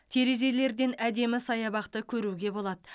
терезелерден әдемі саябақты көруге болады